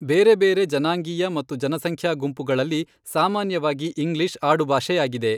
ಬೇರೆ ಬೇರೆ ಜನಾಂಗೀಯ ಮತ್ತು ಜನಸಂಖ್ಯಾ ಗುಂಪುಗಳಲ್ಲಿ ಸಾಮಾನ್ಯವಾಗಿ ಇಂಗ್ಲಿಷ್ ಆಡುಭಾಷೆಯಾಗಿದೆ.